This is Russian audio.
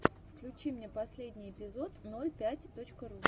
включи мне последний эпизод ноль пять точка ру